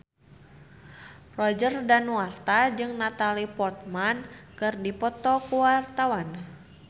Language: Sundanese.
Roger Danuarta jeung Natalie Portman keur dipoto ku wartawan